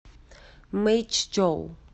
мэйчжоу